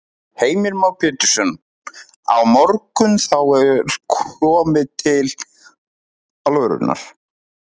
Heimir Már Pétursson: Á morgun, þá er komið til alvörunnar?